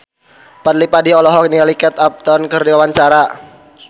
Fadly Padi olohok ningali Kate Upton keur diwawancara